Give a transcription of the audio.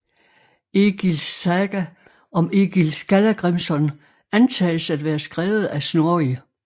Egils saga om Egil Skallagrimson antages at være skrevet af Snorri